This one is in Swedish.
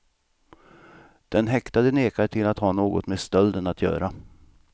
Den häktade nekar till att ha något med stölden att göra.